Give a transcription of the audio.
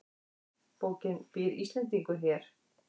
Bókin Býr Íslendingur hér?